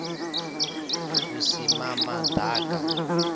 vhusimamaḓaka